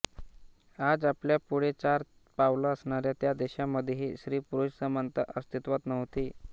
आज आपल्यापुढे चार पावलं असणाऱ्या त्या देशांमध्येही स्त्रीपुरुष समानता अस्तित्वात नव्हती